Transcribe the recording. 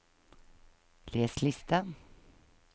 les liste